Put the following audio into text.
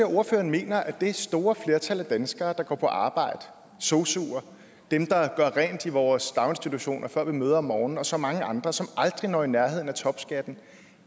ordføreren mener at det store flertal af danskere der går på arbejde sosuer dem der gør rent i vores daginstitutioner før vi møder om morgenen og så mange andre som aldrig når i nærheden af topskatten